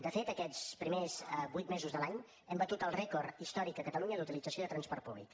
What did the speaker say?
de fet aquests primers vuit mesos de l’any hem batut el rècord històric a catalunya d’utilització del transport públic